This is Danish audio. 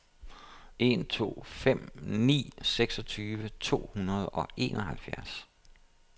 en to fem ni seksogtyve to hundrede og enoghalvfjerds